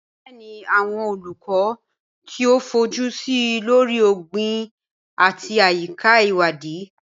Bẹẹni, awọn Oluko ti o fojusi lori ogbin ati ayika iwadi